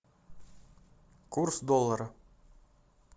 курс доллара